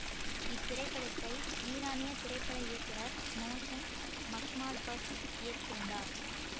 இத்திரைப்படத்தை ஈரானிய திரைப்பட இயக்குனர் மோசன் மக்மால்பஃப் இயக்கியிருந்தார்